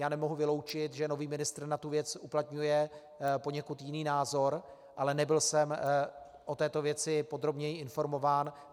Já nemohu vyloučit, že nový ministr na tu věc uplatňuje poněkud jiný názor, ale nebyl jsem o této věci podrobněji informován.